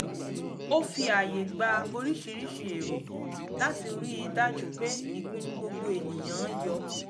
ó fi ààyè gba oríṣiríṣi èrò áti ríi dájú pé ìpinnu gbogbo ènìyàn-an yọ